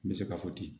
N bɛ se k'a fɔ ten